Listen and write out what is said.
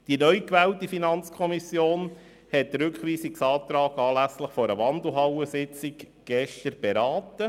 Die neu gewählte FiKo hat den Rückweisungsantrag anlässlich einer Wandelhallensitzung gestern beraten.